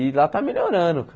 E lá está melhorando, cara.